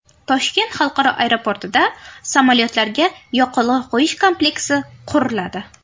Toshkent xalqaro aeroportida samolyotlarga yoqilg‘i quyish kompleksi quriladi.